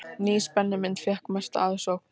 Ný spennumynd fékk mesta aðsókn